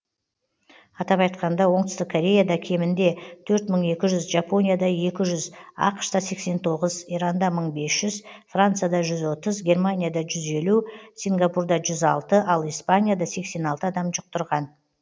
атап айтқанда оңтүстік кореяда кемінде төрт мың екі жүз жапонияда екі жүз ақш та сексен тоғыз иранда мың бес жүз францияда жүз отыз германияда жүз елу сингапурда жүз алты ал испанияда сексен алты адам жұқтырған